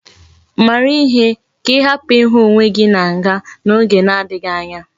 Mara ihe! ka ihapu ihu onwe gi na nga na oge na adighi anya!